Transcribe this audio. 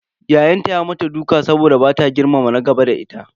Ya'yanta ya mata duka saboda bata girmama na gaba da ita.